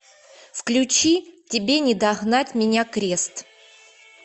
включи тебе не догнать меня крест